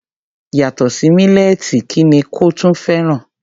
Yàtọ̀ sí mílẹ́ẹ̀tì kí ni kò tún fẹ́ràn?